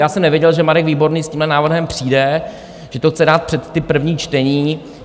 Já jsem nevěděl, že Marek Výborný s tímhle návrhem přijde, že to chce dát před ta první čtení.